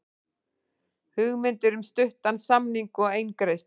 Hugmyndir um stuttan samning og eingreiðslu